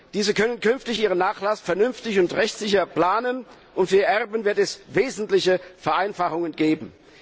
Diese können künftig ihren Nachlass vernünftig und rechtssicher planen, und für ihre Erben wird es wesentliche Vereinfachungen geben.